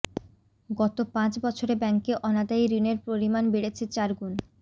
গত পাঁচ বছরে ব্যাঙ্কে অনাদায়ী ঋণের পরিমাণ বেড়েছে চারগুণ